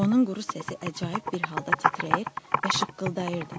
Onun quru səsi əcaib bir halda titrəyir və şıqqıldayırdı.